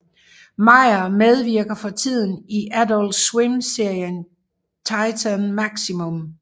Meyer medvirker fortiden i Adult Swim serien Titan Maximum